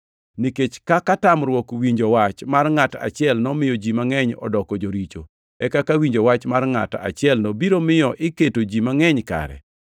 Nikech kaka tamruok winjo wach mar ngʼat achiel nomiyo ji mangʼeny odoko joricho, e kaka winjo wach mar ngʼat achielno biro miyo iketo ji mangʼeny kare.